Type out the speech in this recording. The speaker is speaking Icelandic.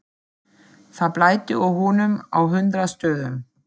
Það blæddi úr honum á hundrað stöðum.